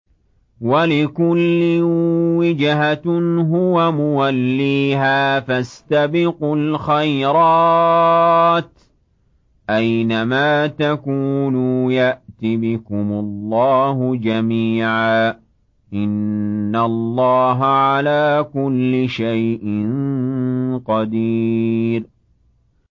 وَلِكُلٍّ وِجْهَةٌ هُوَ مُوَلِّيهَا ۖ فَاسْتَبِقُوا الْخَيْرَاتِ ۚ أَيْنَ مَا تَكُونُوا يَأْتِ بِكُمُ اللَّهُ جَمِيعًا ۚ إِنَّ اللَّهَ عَلَىٰ كُلِّ شَيْءٍ قَدِيرٌ